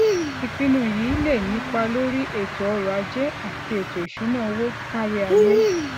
ìpinnu yìí lè nípa lórí ètò ọrò ajé àti ètò ìṣúnná owó kárí ayé